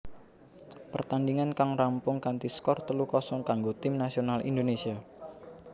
Pertandingan kang rampung kanthi skor telu kosong kanggo Tim Nasional Indonesia